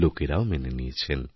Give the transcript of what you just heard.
লোকেরাও মেনেনিয়েছেন